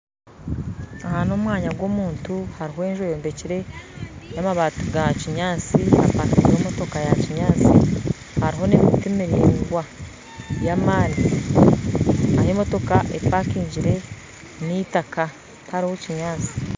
Aha n'omwanya gw'omuntu hariho enju eyombekyire n'amabaati gakinyaatsi hariho emotooka yakinyaatsi hariho n'emiti miraingwa y'amaani ahu emotooka empakingire n'itaaka tariho kinyaatsi